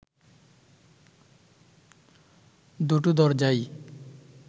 দুটো দরজাই